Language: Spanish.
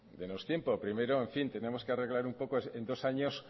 dénos tiempo primero en fin tenemos que arreglar un poco en dos años